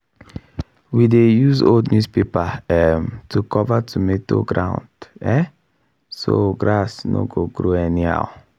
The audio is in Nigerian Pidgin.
we dey use old newspaper um to cover tomato ground um so grass no go grow anyhow.